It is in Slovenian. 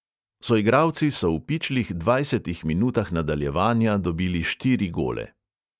Soigralci so v pičlih dvajsetih minutah nadaljevanja dobili štiri gole.